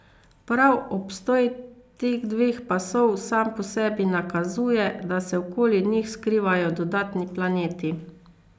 Prav obstoj teh dveh pasov sam po sebi nakazuje, da se okoli njih skrivajo dodatni planeti.